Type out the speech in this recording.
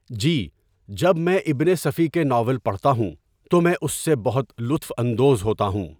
جی جب میں اِبن صفی کے ناول پڑھتا ہوں تو میں اُس سے بہت لُطف اندوز ہوتا ہوں.